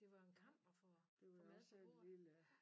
Det var jo en kamp at få få mad på bordet